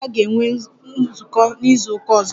Umuada ga-enwe nzukọ n'izuụka ọzọ